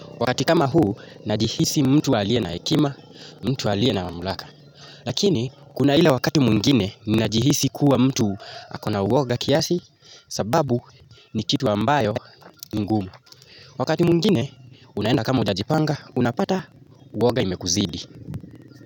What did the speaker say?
Wakati kama huu, najihisi mtu aliye na hekima, mtu aliye na maamulaka. Lakini, kuna ile wakati mwingine, ninajihisi kuwa mtu akona uoga kiasi, sababu ni kitu ambayo ni ngumu. Wakati mwingine, unaenda kama ujajipanga, unapata uoga imekuzidi.